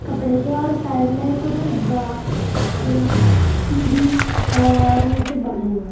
कपड़े के और साइड में कुछ बा और सीढ़ी है और नीचे बम्बू है।